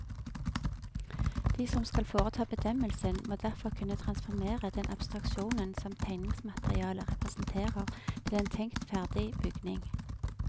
De som skal foreta bedømmelsen, må derfor kunne transformere den abstraksjonen som tegningsmaterialet representerer til en tenkt ferdig bygning.